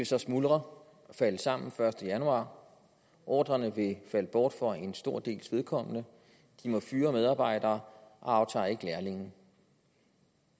så smuldre og falde sammen den første januar ordrerne vil falde bort for en stor dels vedkommende de må fyre medarbejdere og aftager ikke lærlinge